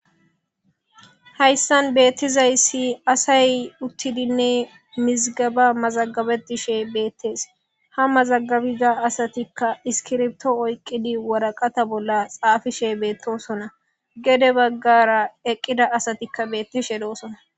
hayssan beettizayssi asay uttidinne mizgaba mazagabe dishe beettees ha mazagabiza asatikka iskirbto oyqqidi woraqata bolla xaafishe beettosona gede baggara eqqida asatikka beettishe doosona